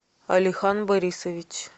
алихан борисович